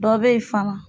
Dɔ be yen fana